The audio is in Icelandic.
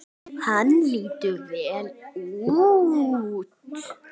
Hann lítur vel út